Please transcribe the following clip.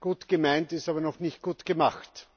Gut gemeint ist aber noch nicht gut gemacht.